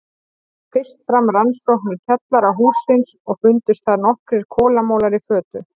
Fór fyrst fram rannsókn í kjallara hússins og fundust þar nokkrir kolamolar í fötu.